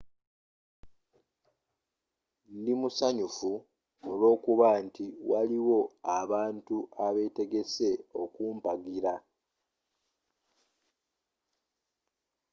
ndi musanyufu olw'okuba nti waliwo abantu abeetegese okumpagira